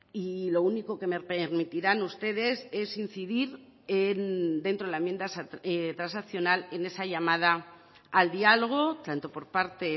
y lo único que me permitirán ustedes es incidir dentro de la enmienda transaccional en esa llamada al diálogo tanto por parte